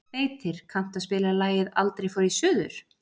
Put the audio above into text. Beitir, kanntu að spila lagið „Aldrei fór ég suður“?